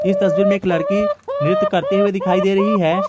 इस तस्वीर में एक लड़की नृत्य करते हुए दिखाई दे रही है।